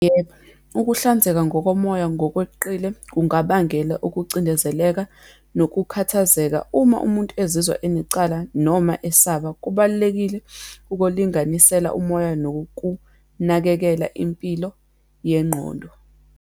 Yebo, ukuhlanzeka ngokomoya ngokweqile kungabangela ukucindezeleka nokukhathazeka uma umuntu ezizwa enecala, noma esaba. Kubalulekile ukulinganisela umoya nokunakekela impilo yengqondo.